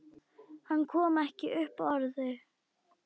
Hann kom ekki upp orði.